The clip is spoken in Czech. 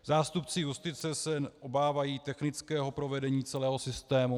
Zástupci justice se obávají technického provedení celého systému.